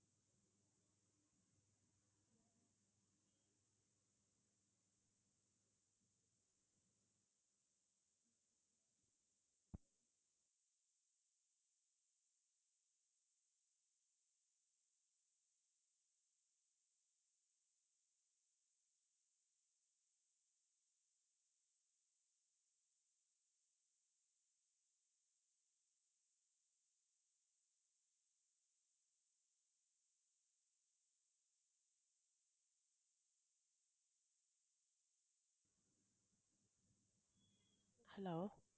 hello